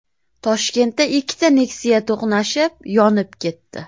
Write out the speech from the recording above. Toshkentda ikkita Nexia to‘qnashib, yonib ketdi .